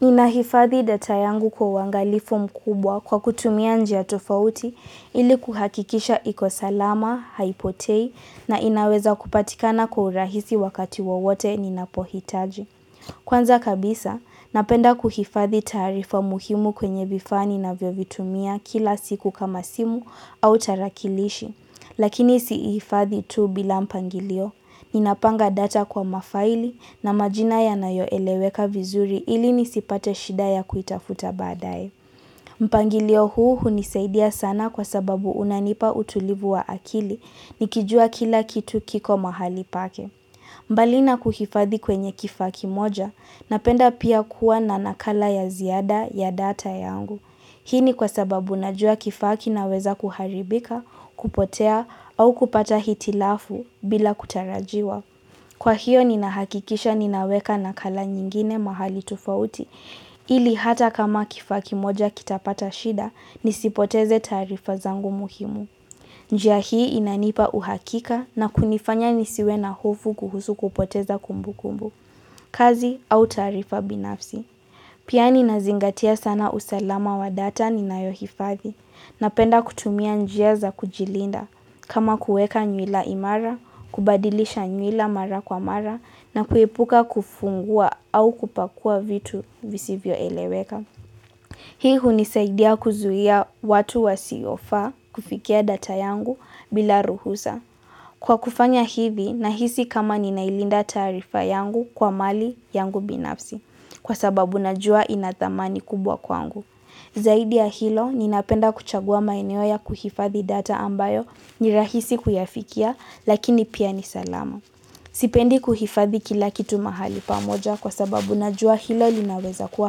Ninahifadhi data yangu kwa uangalifu mkubwa kwa kutumia njia tofauti ili kuhakikisha ikosalama, haipotei na inaweza kupatikana kwa urahisi wakati wowote ninapohitaji. Kwanza kabisa, napenda kuhifadhi taarifa muhimu kwenye vifaa ninavyo vitumia kila siku kama simu au tarakilishi. Lakini sihifadhi tu bila mpangilio, ninapanga data kwa mafaili na majina ya nayoeleweka vizuri ili nisipate shida ya kuitafuta baadae. Mpangilio huu hunisaidia sana kwa sababu unanipa utulivu wa akili nikijua kila kitu kiko mahali pake. Mbali na kuhifadhi kwenye kifaa kimoja, ninapenda pia kuwa na nakala ya ziada ya data yangu. Hii ni kwa sababu najua kifaa kinaweza kuharibika, kupotea au kupata hitilafu bila kutarajiwa. Kwa hiyo ninahakikisha ninaweka na kala nyingine mahali tofauti, ili hata kama kifaa kimoja kitapata shida, nisipoteze taarifa zangu muhimu. Njia hii inanipa uhakika na kunifanya nisiwe na hofu kuhusu kupoteza kumbu kumbu, kazi au taarifa binafsi. Pia ninazingatia sana usalama wa data ninayohifathi ninapenda kutumia njia za kujilinda kama kuweka nywila imara, kubadilisha nywila mara kwa mara na kuepuka kufungua au kupakua vitu visivyo eleweka. Hii hunisaidia kuzuia watu wasiofaa kufikia data yangu bila ruhusa. Kwa kufanya hivi, ninahisi kama ninailinda taarifa yangu kwa mali yangu binafsi, kwa sababu najua inathamani kubwa kwangu. Zaidi ya hilo, ninapenda kuchagua maeneo ya kuhifathi data ambayo nirahisi kuyafikia, lakini pia nisalama. Sipendi kuhifathi kila kitu mahali pamoja kwa sababu najua hilo linaweza kuwa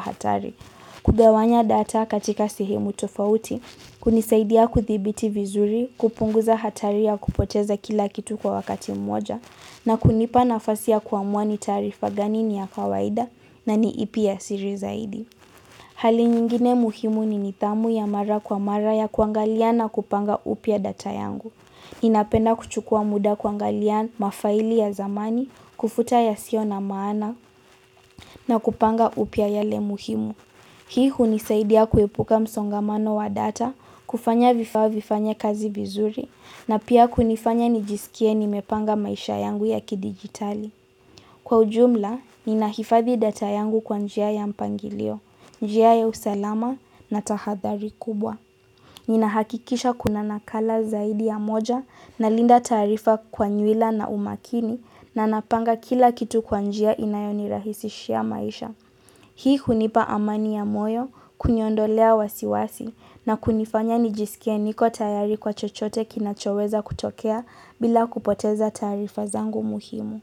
hatari. Kugawanya data katika sehemu tofauti, kunisaidia kuthibiti vizuri, kupunguza hatari ya kupoteza kila kitu kwa wakati mmoja, na kunipa nafasi ya kuamua ni taarifa gani ni ya kawaida na ni ipi ya siri zaidi. Hali nyingine muhimu ni nidhamu ya mara kwa mara ya kuangalia na kupanga upya data yangu. Ninapenda kuchukua muda kuangalia mafaili ya zamani, kufuta ya sio na maana na kupanga upya yale muhimu. Hii hunisaidia kuepuka msongamano wa data, kufanya vifaa vifanye kazi vizuri, na pia kunifanya nijisikie nimepanga maisha yangu ya kidigitali. Kwa ujumla, ninahifadhi data yangu kwa njia ya mpangilio, njia ya usalama na tahadhari kubwa. Ninahakikisha kuna nakala zaidi ya moja ninalinda taarifa kwa nywila na umakini na ninapanga kila kitu kwa njia inayoni rahisishia maisha. Hii hunipa amani ya moyo, kuniondolea wasiwasi na kunifanya nijisikie niko tayari kwa chochote kinachoweza kutokea bila kupoteza taarifa zangu muhimu.